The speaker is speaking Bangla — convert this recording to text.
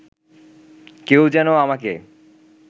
কেউ যেন আমাকে